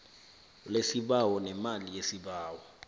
lesibawo nemali yesibawo